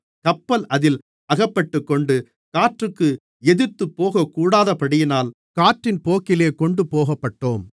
கப்பல் அதில் அகப்பட்டுக்கொண்டு காற்றுக்கு எதிர்த்துப்போகக்கூடாதபடியினால் காற்றின் போக்கிலே கொண்டுபோகப்பட்டோம்